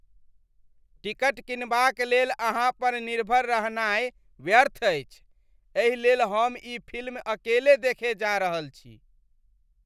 Ticket किनबाक लेल अहाँ पर निर्भर रहनाय व्यर्थ अछि, एहि लेल हम ई फिल्म अकेले देखय जा रहल छी।